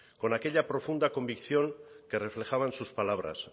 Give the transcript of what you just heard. con aquella profunda convicción que reflejaban sus palabras